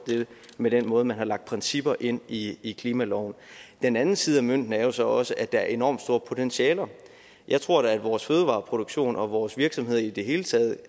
med den måde hvorpå man har lagt principper ind i i klimaloven den anden side af mønten er jo så også at der er enormt store potentialer jeg tror da at vores fødevareproduktion og vores virksomheder i det hele taget